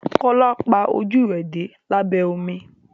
Kola pá ojú rẹ dé labẹ omi.